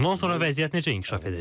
Bundan sonra vəziyyət necə inkişaf edəcək?